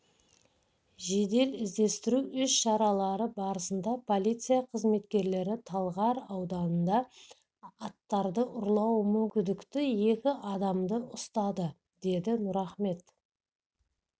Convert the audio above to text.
жедел-іздестіру іс-шаралары барысында полиция қызметкерлері талғар ауданында аттарды ұрлауы мүмкін күдікті екі адамды ұстады деді нұрахмет